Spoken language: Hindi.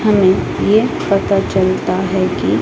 हमें ये पता चलता है कि--